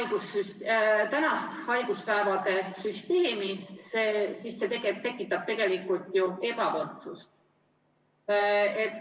Kui me vaatame tänast haiguspäevade süsteemi, siis see tekitab tegelikult ju ebavõrdsust.